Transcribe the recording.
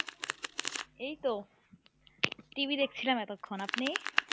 এইতো TV দেখছিলাম এতক্ষন আপনি?